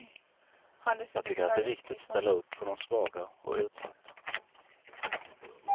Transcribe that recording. Jag tycker att det är viktigt att ställa upp för de svaga och utsatta.